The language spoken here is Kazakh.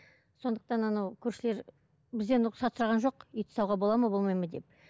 сондықтан анау көршілер бізден рұқсат сұраған жоқ ит ұстауға болады ма болмайды ма деп